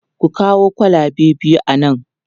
Ku kawo kwalabe biyu a nan!